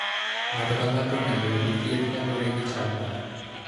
Ng'ato ka ng'ato onego oyud thieth kaluwore gi chal mare.